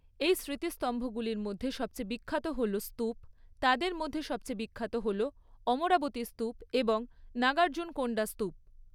এই স্মৃতিস্তম্ভগুলির মধ্যে সবচেয়ে বিখ্যাত হল স্তূপ, তাদের মধ্যে সবচেয়ে বিখ্যাত হল অমরাবতী স্তূপ এবং নাগার্জুনকোন্ডা স্তূপ।